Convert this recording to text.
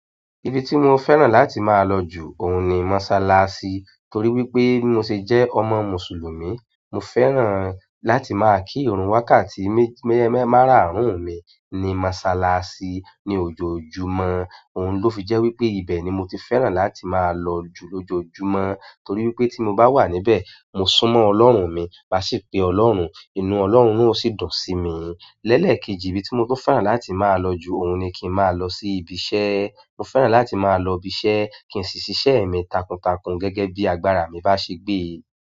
Ibi tí mo fẹ́ràn láti máa lọ jù, òun ni mọ́ṣáláṣí torí wípé bí mo ṣe jẹ́ ọmọ Mùsùlùmí. Mo fẹ́ràn láti máa kírun wákàtí mẹ́, mẹ́, mẹ́ máràárún mi ní mọ́ṣáláṣí ní ojoojúmọ́. Òun ló fi jẹ́ wípé ibẹ̀ ni mo ti fẹ́ràn láti máa lọ jù lójoojúmọ́ torí wípé tí mo bá wà níbẹ̀, mo súnmọ́ Ọlọ́run mi, màá sì pe Ọlọ́run, inú Ọlọ́run ó sì dùn sí mi. Lẹ́ẹ̀kejì ibi tí mo tó fẹ́ràn láti máa lọ jù, òun ni kí n máa lọ sí ibi iṣẹ́. Mo fẹ́ràn láti máa lọ ibi iṣẹ́ kí n sì ṣíṣẹ́ mi takuntakun gẹ́gẹ́ bí agbára mi bá ṣe gbé.